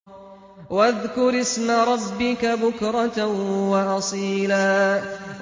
وَاذْكُرِ اسْمَ رَبِّكَ بُكْرَةً وَأَصِيلًا